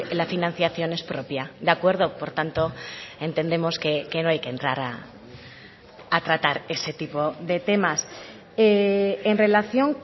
la financiación es propia de acuerdo por tanto entendemos que no hay que entrar a tratar ese tipo de temas en relación